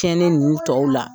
Tiɲɛnen ninnu tɔw la